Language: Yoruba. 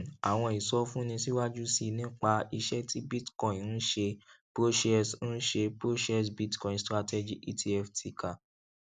um àwọn ìsọfúnni síwájú sí i nípa iṣẹ tí bitcoin ń ṣe proshares ń ṣe proshares bitcoin strategy etf ticker